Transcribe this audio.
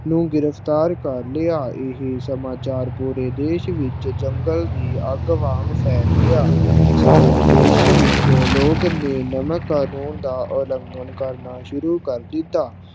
ਨੂੰ ਗਿਰਫ ਤਾਰ ਕਰ ਲਿਆ। ਇਹ ਸਮਾਚਾਰ ਪੂਰੇ ਦੇਸ਼ ਵਿਚ ਜੰਗਲ ਦੇ ਅੱਗ ਵਾਂਗ ਪੂਰੇ ਦੇਸ਼ ਵਿਚ ਫੈਲ ਗਿਆ ਸਾਰੇ ਦੇਸ਼ ਵਿਚ ਲੋਕ ਨੇ ਨਮਕ ਕਾਨੂੰਨ ਦਾ ਉਲੰਘਣ ਕਰਨਾ ਸ਼ੁਰੂ ਕਰ ਦਿਤਾ।